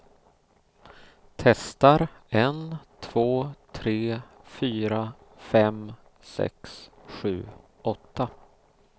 Testar en två tre fyra fem sex sju åtta.